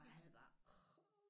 Og jeg havde det bare åh